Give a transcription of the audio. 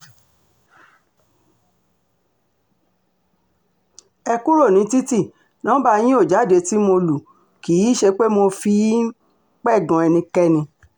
ẹ kúrò ní títì nọmba yín ò jáde tí mo lù kì í um ṣe pé mo fi um ń pẹ̀gàn ẹnikẹ́ni